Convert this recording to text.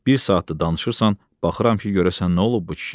Bir saatdır danışırsan, baxıram ki, görəsən nə olub bu kişiyə.